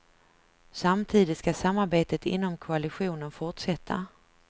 Samtidigt ska samarbetet inom koalitionen fortsätta.